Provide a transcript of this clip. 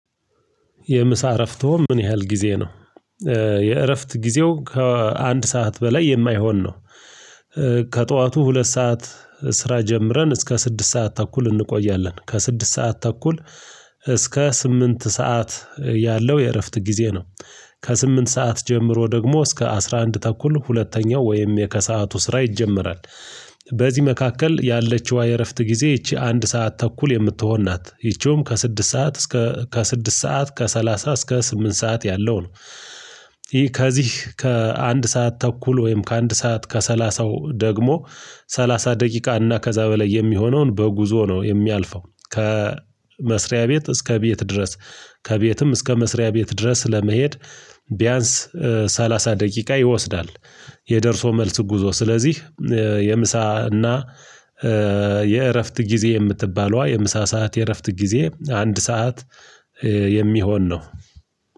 የምሳ እረፍቶ ምን ያህል ጊዜ ነው? የእረፍት ጊዜው ከአንድ ሰዓት በላይ የማይሆን ነው። ከጠዋቱ ሁለት ሰዓት ስራ ጀምረን እስከ ስድስት ሰዓት ተኩል እንቆያለን ከስድስት ሰዓት ተኩል እስከ ስምንት ሰዓት ያለው የእረፍት ጊዜ ነው። ከስምንት ሰዓት ጀምሮ ደግሞ እስከ አስራ አንድ ተኩል ሁለተኛው ወይም የከሰአቱ ስራ ይጀመራል። በዚህ መካከል ያለችዋ የእረፍት ጊዜ ይቺ አንድ ሰዓት ተኩል የምትሆን ናት ይቺውም ከስድስት ሰዓት እስከ ከስድስት ሰዓት ከሰላሳ እስከ ስምንት ሰዓት ያለው ነው። ይህ ከዚህ ከአንድ ሰዓት ተኩል ወይም ከአንድ ሰዓት ከሰላሳው ደግሞ ሰላሳ ደቂቃ እና ከዛ በላይ የሚሆነውን በጉዞ ነው የሚያልፈው። ከመስሪያ ቤት እስከ ቤት ድረስ ከቤትም እስከ መስሪያ ቤት ድረስ ለመሄድ ቢያንስ ሰላሳ ደቂቃ ይወስዳል። የደርሶ መልስ ጉዞ ስለዚህ የምሳ እና የእረፍት ጊዜ የምትባለዋ የምሳ ሰዓት የእረፍት ጊዜ አንድ ሰዓት የሚሆን ነው።